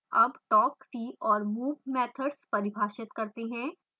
अब talk see और move methods परिभाषित करते हैं